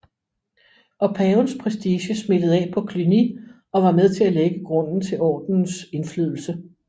Og pavens prestige smittede af på Cluny og var med til at lægge grunden til ordenens indflydelse